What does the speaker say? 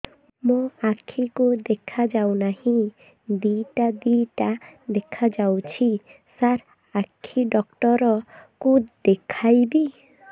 ମୋ ଆଖିକୁ ଦେଖା ଯାଉ ନାହିଁ ଦିଇଟା ଦିଇଟା ଦେଖା ଯାଉଛି ସାର୍ ଆଖି ଡକ୍ଟର କୁ ଦେଖାଇବି